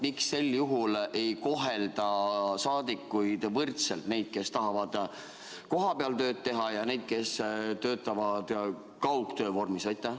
Miks sel juhul ei kohelda saadikuid võrdselt: neid, kes tahavad kohapeal tööd teha, ja neid, kes töötavad kaugtöö vormis?